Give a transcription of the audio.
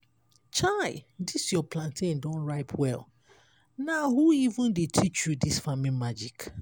chai! dis your plantain don ripe well! na who even dey teach you dis farming magic?